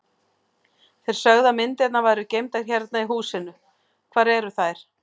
Þið sögðuð að myndirnar væru geymdar hérna í húsinu, hvar eru þær?